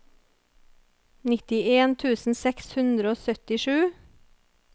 nittien tusen seks hundre og syttisju